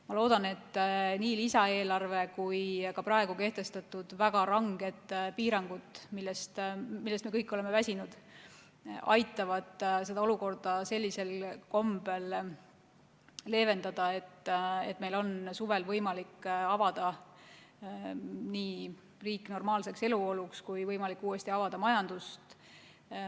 Ma loodan, et nii lisaeelarve kui ka praegu kehtestatud väga ranged piirangud, millest me kõik oleme väsinud, aitavad seda olukorda sellisel kombel leevendada, et meil oleks suvel võimalik avada riik normaalseks eluoluks ja avada ka majandus.